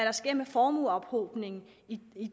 der sker med formueophobningen i